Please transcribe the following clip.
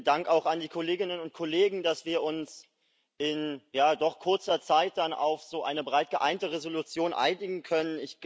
Vielen Dank auch an die Kolleginnen und Kollegen, dass wir uns in doch kurzer Zeit dann auf so eine breit geeinte Entschließung einigen können.